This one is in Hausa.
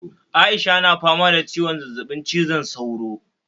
Aisha na fama da ciwon zazzabin cizon sauro